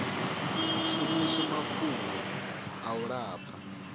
shumiswe mafhungo a u lafha